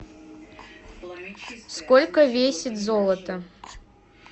сколько весит золото